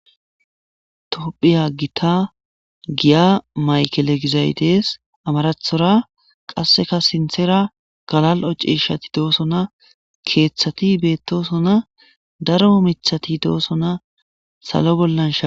topphiya gita giya maykele gizay dees amarathora qasseka sinthera galal7o cishati doosona keeththati beettosona daro mithati doosona salo bollan sha